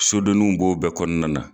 Sodeninw b'o bɛɛ kɔnɔna na.